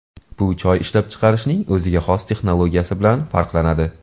Bu choy ishlab chiqarishning o‘ziga xos texnologiyasi bilan farqlanadi.